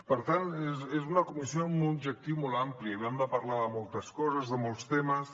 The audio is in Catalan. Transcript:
per tant és una comissió amb un objectiu molt ampli havíem de parlar de moltes coses de molts temes